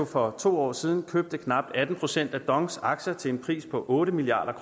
for to år siden købte knap atten procent af dongs aktier til en pris på otte milliard